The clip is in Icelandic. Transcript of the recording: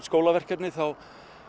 skólaverkefni þá